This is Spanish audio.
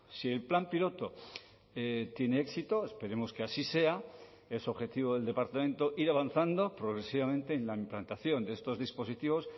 si el plan piloto tiene éxito esperemos que así sea es objetivo del departamento ir avanzando progresivamente en la implantación de estos dispositivos